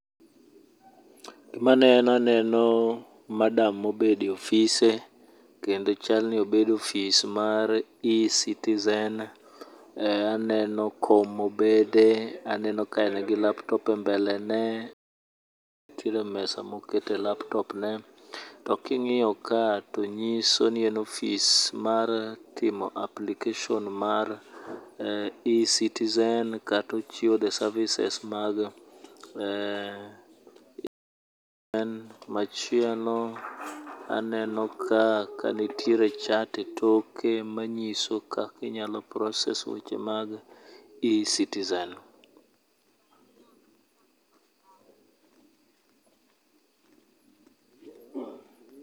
Gima aneno, aneno madam mobedo e ofise kendo chal ni obedo e ofis mar eCitizen, aneno kom mobede, aneno ka en gi laptop e mbelene, nitiere mesa mokete laptop ne. To king'iyo ka to nyiso ni en ofis mara timo application mar eCitizen kato ochiwo the services mag eeh machielo aneno ka kanitiere chat e toke manyiso kaka inyalo process weche mag eCitizen.